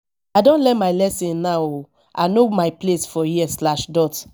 i don learn my lesson now o i know my place for here slash dot